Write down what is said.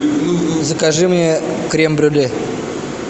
закажи мне крем брюле